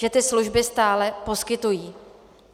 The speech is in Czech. Že ty služby stále poskytují.